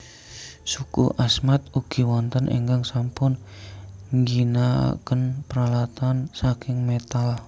Suku Asmat ugi wonten ingkang sampun ngginakaken peralatan saking métal